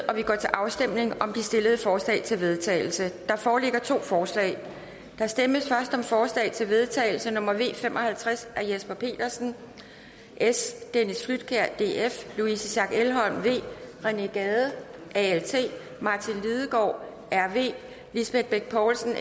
og vi går til afstemning om de stillede forslag til vedtagelse der foreligger to forslag der stemmes først om forslag til vedtagelse nummer v fem og halvtreds af jesper petersen dennis flydtkjær louise schack elholm rené gade martin lidegaard lisbeth bech poulsen